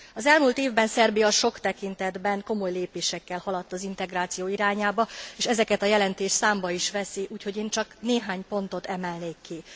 Az elmúlt évben Szerbia sok tekintetben komoly lépésekkel haladt az integráció irányába, és ezeket a jelentés számba is veszi, úgyhogy én csak néhány pontot emelnék ki.